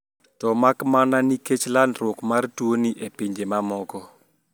To makmana nikech landruok mar tuoni e pinje mamoko